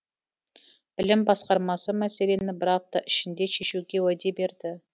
білім басқармасы мәселені бір апта ішінде шешуге уәде берді